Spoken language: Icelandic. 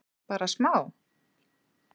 Bara smá?